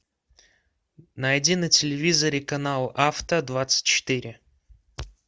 найди на телевизоре канал авто двадцать четыре